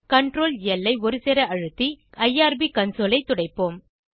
Ctrl ல் ஐ ஒருசேர அழுத்தி ஐஆர்பி கன்சோல் ஐ துடைப்போம்